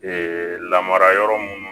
lamarayɔrɔ munnu